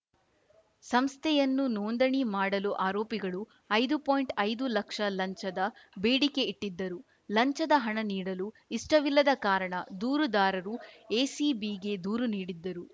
ಸಂಸ್ಥೆಯನ್ನು ನೋಂದಣಿ ಮಾಡಲು ಆರೋಪಿಗಳು ಐದು ಪಾಯಿಂಟ್ ಐದು ಲಕ್ಷ ಲಂಚದ ಬೇಡಿಕೆ ಇಟ್ಟಿದ್ದರು ಲಂಚದ ಹಣ ನೀಡಲು ಇಷ್ಟವಿಲ್ಲದ ಕಾರಣ ದೂರುದಾರರು ಎಸಿಬಿಗೆ ದೂರು ನೀಡಿದ್ದರು